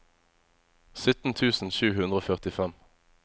sytten tusen sju hundre og førtifem